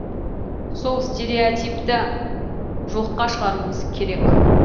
сол стереотипті жоққа шығаруымыз керек